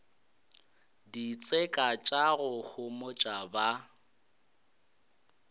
ditseka tša go homotša ba